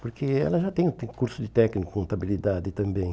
Porque ela já tem tem curso de técnico, contabilidade também.